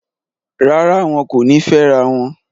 Rárá, wọn kò ní fẹ́rawọn